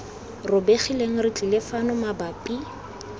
robegileng re tlile fano mabapi